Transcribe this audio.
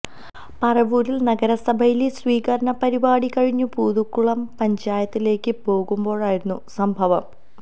പരവൂരില് നഗരസഭയിലെ സ്വീകരണ പരിപാടി കഴിഞ്ഞു പൂതക്കുളം പഞ്ചായത്തിലേക്കു പോകുമ്പോഴായിരുന്നു സംഭവം